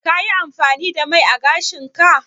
Ka yi amfani da mai ã gashin ka?